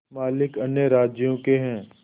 मालिक अन्य राज्यों के हैं